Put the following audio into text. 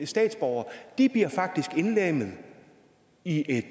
statsborgere bliver faktisk indlemmet i et